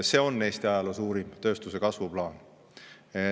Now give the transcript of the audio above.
See on Eesti ajaloo suurim tööstuse kasvu plaan.